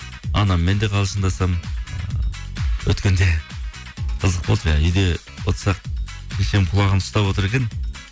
анаммен де қалжыңдасамын ыыы өткенде қызық болды жаңа үйде отырсақ шешем құлағын ұстап отыр екен